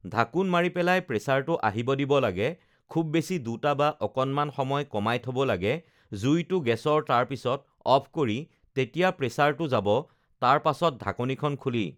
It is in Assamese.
ঢাকোন মাৰি পেলাই প্ৰেচাৰটো আহিব দিব লাগে খুব বেছি দুটা বা আৰু অকণমান সময় কমাই থ'ব লাগে জুইটো গেছৰ তাৰপিছত অফ কৰি যেতিয়া প্ৰেচাৰটো যাব তাৰপাছত ঢাকনীখন খুলি